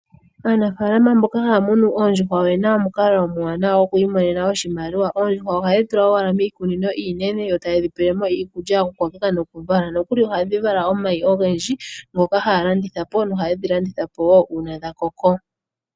Aanafalama mboka haya munu oondjuhwa oyena omukalo omuwanawa go ku imonena oshimaliwa. Oondjuhwa ohaye dhi tula owala miikunino iinene yo taye dhi pelemo iikulya noku vala, nokuli ohadhi vala omayi ogendji ngoka haya landithapo nahaye dhi landithapo wo una dha koko.